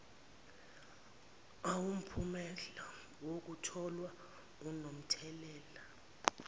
awumphumela wokutholwa anomthelela